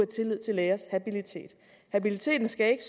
tillid til lægers habilitet habiliteten skal ikke